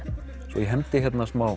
svo ég hendi hérna í smá